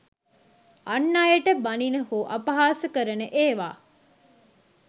අන් අයට බණින හෝ අපහාස කරන ඒවා